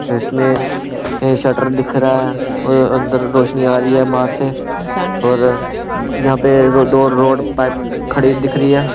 इसमें यह शटर दिख रहा है और अंदर रोशनी आ रही है बाहर से और यहां पे रो दो रोड पाइप खड़ी दिख रही है